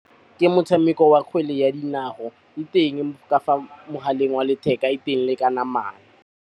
Ke motshameko wa kgwele ya dinao, e teng ka fa mogaleng wa letheka, e teng le ka namana.